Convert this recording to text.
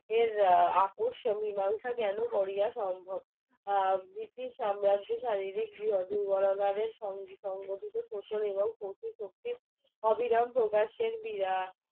এর আপসে মীমাংসা কৰিব কিভাবে সম্ভব ব্রিটিশ সাম্রাজ্য শারীরিক গৃহ দুর্বলতাকে সংগঠিত এবং শত্রু শক্তির হিরণ প্রকাশের বিরল